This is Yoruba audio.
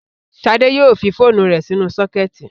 Ṣadé yóò fi phone rẹ̀ sínú sọ́kẹ́tì.